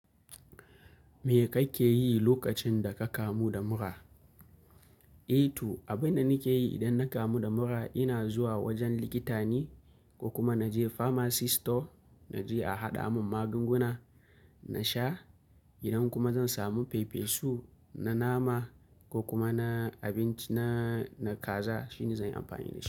Me kake yi lokacin da ka kamu da mura? Eh to, abin da nake yi idan na kamu da mura ina zuwa wajen likita ne ko kuma na je pharmacy store na je a haɗa mun magunguna na sha idan kuma zan samu fefesu na nama ko kuma na abinci na, na kaza shine zan yi amfani da shi.